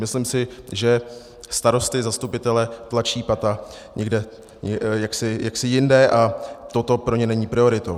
Myslím si, že starosty, zastupitele, tlačí pata někde jaksi jinde a toto pro ně není prioritou.